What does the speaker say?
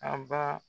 An ba